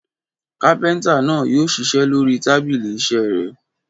Kápẹ́ńtà náà yóò ṣiṣẹ́ lórí tábìlì iṣẹ́ rẹ̀.